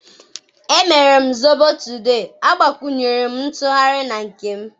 emere m zobo today, agbakwunyere m ntughari na nke m.